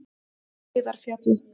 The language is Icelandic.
Heiðarfjalli